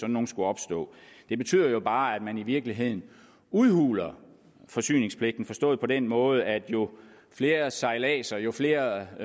nogle skulle opstå det betyder jo bare at man i virkeligheden udhuler forsyningspligten forstået på den måde at jo flere sejladser jo flere